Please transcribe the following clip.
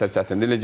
Necə çətindir?